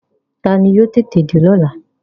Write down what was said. Taani yóò tètè dé lọ́la?